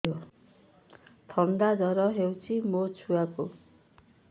ଥଣ୍ଡା ଜର ହେଇଚି ମୋ ଛୁଆକୁ